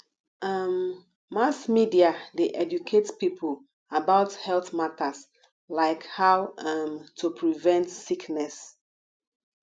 um mass media dey educate people about health matters like how um to prevent sickness